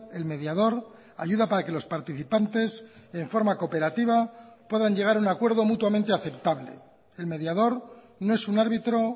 el mediador ayuda para que los participantes en forma cooperativa puedan llegar a un acuerdo mutuamente aceptable el mediador no es un árbitro